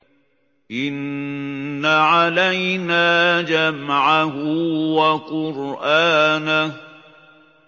إِنَّ عَلَيْنَا جَمْعَهُ وَقُرْآنَهُ